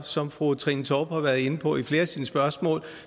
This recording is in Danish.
som fru trine torp har været inde på i flere af sine spørgsmål